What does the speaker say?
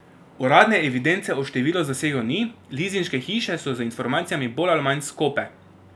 Uradne evidence o številu zasegov ni, lizinške hiše so z informacijami bolj ali manj skope.